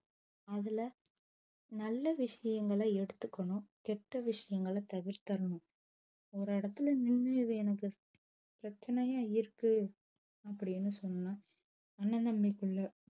அதுல நல்ல விஷயங்கள எடுத்துக்கணும் கெட்ட விஷயங்கள தவிர்க்கணும் ஒரு எடத்துல நின்னு இது எனக்கு பிரச்சனையா இருக்கு அப்டின்னு சொன்னா அண்ணன் தம்பிக்குள்ள